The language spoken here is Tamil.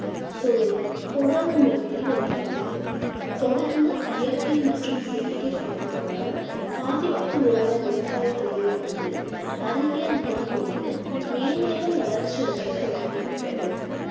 தொழிலில் தொடர்ந்து முன்னேறி வருகிறது தொடர்ந்து இயற்கை மற்றும் செயற்கைப் பாதைகளால் பாதிப்புக்குள்ளான விவசாயத் தொழிலானது அறிவியல் உற்பத்தி கொண்டு மேன்மேலும் வளர்ச்சி அடையத் தொடங்கிவிட்டது